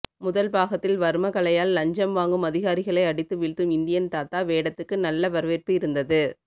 முதல் பாகத்தில் வர்ம கலையால் லஞ்சம் வாங்கும் அதிகாரிகளை அடித்து வீழ்த்தும் இந்தியன் தாத்தா வேடத்துக்கு நல்ல வரவேற்பு இருந்தது